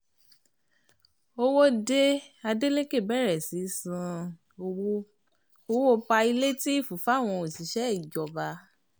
owó dé adeleke bẹ̀rẹ̀ sísan owó, owó páílétììfù fáwọn òṣìṣẹ́ ìjọba